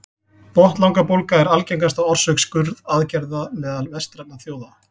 botnlangabólga er algengasta orsök skurðaðgerða meðal vestrænna þjóða